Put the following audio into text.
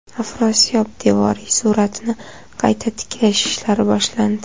Afrosiyob devoriy suratini qayta tiklash ishlari boshlandi.